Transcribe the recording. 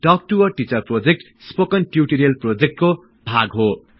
talk to a teacher project spoken tutorial प्रोजेक्टको भाग हो